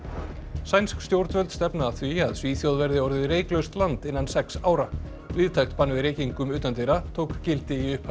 sænsk stjórnvöld stefna að því að Svíþjóð verði orðið reyklaust land innan sex ára víðtækt bann við reykingum utandyra tók gildi í upphafi